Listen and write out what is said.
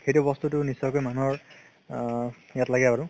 সেইটো বস্তু নিশ্চয়কে মানুহৰ আ গাত লাগে আৰু